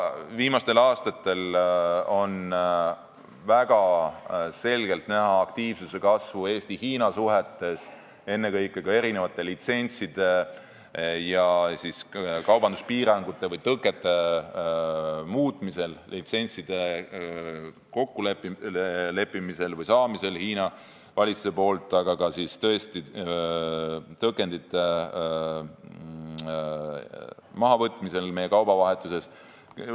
Viimastel aastatel on väga selgelt näha aktiivsuse kasvu Eesti ja Hiina suhetes, ennekõike litsentside ja kaubanduspiirangute või -tõkete muutmisel, litsentside kokkuleppimisel või saamisel Hiina valitsuse käest, aga ka tõkendite mahavõtmisel meie kaubavahetuses.